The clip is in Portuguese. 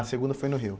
A segunda foi no Rio.